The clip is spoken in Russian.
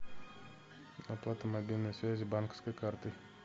оплата мобильной связи банковской картой